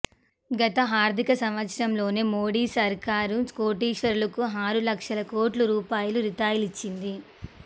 గత ఆర్థిక సంవత్సరంలోనే మోడీ సర్కారు కోటీశ్వరులకు ఆరు లక్షల కోట్ల రూపాయల రాయితీలిచ్చింది